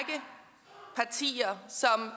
at og siger